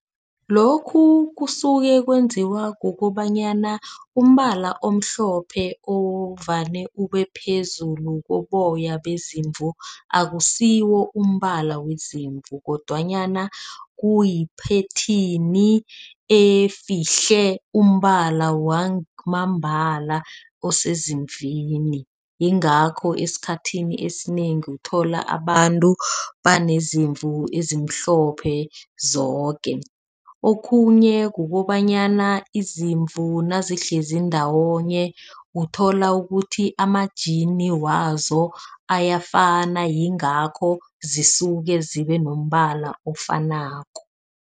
Lokhu kusuke kwenziwa kukobanyana umbala omhlophe ovane ubephezulu koboya bezimvu, akusiwo umbala wezimvu kodwanyana kuyiphetheni efihle umbala wamambala osezimvini. Yingakho esikhathini esinengi uthola abantu baneezimvu ezimhlophe zoke. Okhunye kukobanyana izimvu nazihlezi ndawonye uthola ukuthi ajimani wazo ayafana yingakho zisuke zibe nombala ofanako.